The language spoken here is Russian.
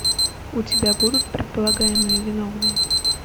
у тебя будут предполагаемые виновные